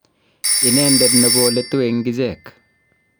inendet ne koletu eng ichek